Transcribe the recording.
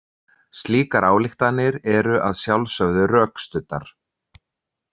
Slíkar ályktanir eru að sjálfsögðu rökstuddar.